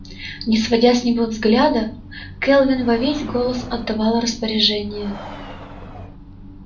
не сводя с него взгляда кэлвин во весь голос отдавала распоряжения